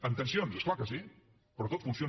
amb tensions és clar que sí però tot funciona